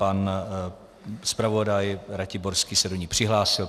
Pan zpravodaj Ratiborský se do ní přihlásil.